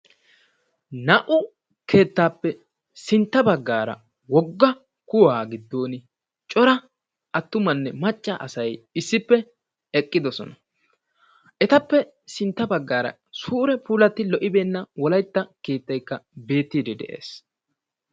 Naa'u keettappe sintta baggara wogga kuwaa giddon cora attummanne macca asay issippe eqqiddosona. Etappe sintta baggara suure puulatti lo'ibeenna wolaytta keettaykka beettidi de'es.